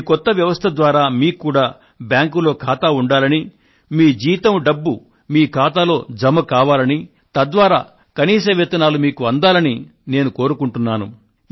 ఈ కొత్త వ్యవస్థ ద్వారా మీకు కూడా బ్యాంకులో ఖాతా ఉండాలని మీ జీతం డబ్బు మీ ఖాతాలో జమ కావాలని తద్వారా కనీస వేతనాలు మీకు అందాలని కోరుకుంటున్నాను